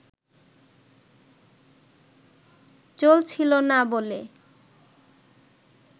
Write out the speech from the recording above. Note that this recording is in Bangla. চলছিল না বলে